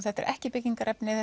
þetta eru ekki byggingarefni